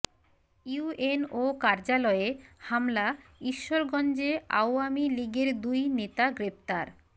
UNO কার্যালয়ে হামলা ঈশ্বরগঞ্জে আওয়ামী লীগের দুই নেতা গ্রেপ্তার